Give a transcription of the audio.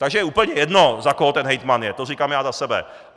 Takže je úplně jedno, za koho ten hejtman je, to říkám já za sebe.